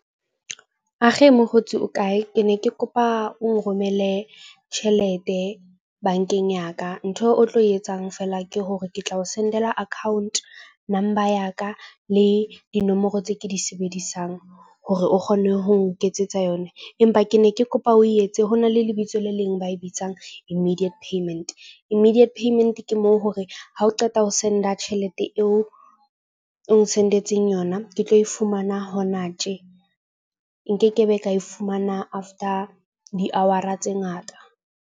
Age mokgotsi o kae? Ke ne ke kopa o nromelle tjhelete bank-eng ya ka. Ntho o tlo etsang feela ke hore ke tla o send-ela account number ya ka le dinomoro tse ke di sebedisang. Hore o kgone ho nketsetsa yona. Empa ke ne ke kopa o etse ho na le lebitso le leng ba e bitsang immediate payment. Immediate payment ke moo hore ha o qeta ho send-a tjhelete eo o nsendetseng yona, ke tlo e fumana hona tje. Nke ke be ka e fumana after di-hour-a tse ngata.